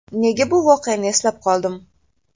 Nega bu voqeani eslab qoldim?